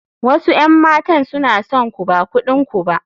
Wasu 'yan matan suna son ku ba kudin ku ba.